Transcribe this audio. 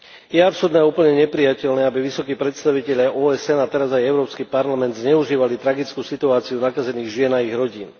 Je absurdné a úplne neprijateľné, aby vysokí predstavitelia OSN a teraz aj Európsky parlament zneužívali tragickú situáciu nakazených žien a ich rodín.